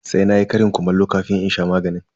Sai na yi ƙarin kumallo kafin in sha magani.